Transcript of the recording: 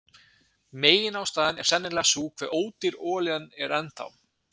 Meginástæðan er sennilega sú hve ódýr olían er enn þá.